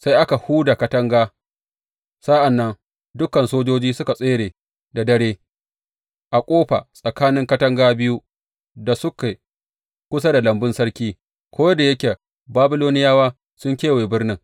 Sai aka huda katanga sa’an nan dukan sojoji suka tsere da dare a ƙofa tsakanin katanga biyu da suke kusa da lambun sarki, ko da yake Babiloniyawa sun kewaye birnin.